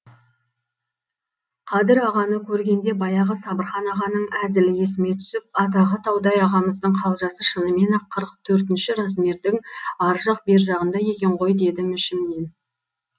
қадыр ағаны көргенде баяғы сабырхан ағаның әзілі есіме түсіп атағы таудай ағамыздың қалжасы шынымен ақ қырық төртінші размердің ар жақ бер жағында екен ғой дедім ішімнен